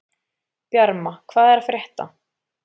Bjarma, hvað er að frétta?